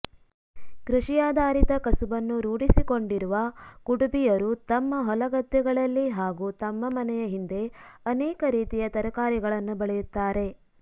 ಕೃಷಿಯಾಧಾರಿತ ಕಸುಬನ್ನು ರೂಢಿಸಿಕೊಂಡಿರುವ ಕುಡುಬಿಯರು ತಮ್ಮ ಹೊಲಗದ್ದೆಗಳಲ್ಲಿ ಹಾಗೂ ತಮ್ಮ ಮನೆಯ ಹಿಂದೆ ಅನೇಕ ರೀತಿಯ ತರಕಾರಿಗಳನ್ನು ಬೆಳೆಯುತ್ತಾರೆ